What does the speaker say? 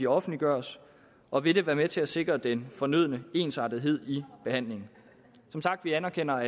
offentliggøres og vil det være med til at sikre den fornødne ensartethed i behandlingen som sagt anerkender